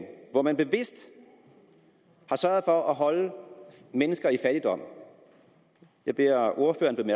hvor man bevidst har sørget for at holde mennesker i fattigdom jeg beder ordføreren